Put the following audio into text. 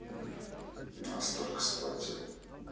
настолько сплатил